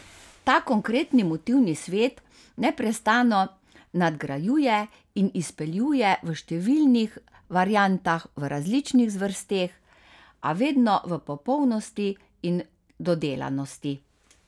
Ta konkretni motivni svet neprestano nadgrajuje in izpeljuje v številnih variantah, v različnih zvrsteh, a vedno v popolnosti in dodelanosti.